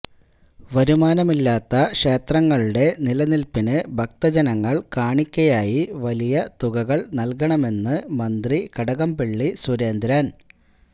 വരുമാനമില്ലാത്ത ക്ഷേത്രങ്ങളുടെ നിനില്പ്പിന് ഭക്തജനങ്ങള് കാണിക്കയായി വലിയ തുകകള് നല്കണമെന്ന് മന്ത്രി കടകംപള്ളി സുരേന്ദ്രന്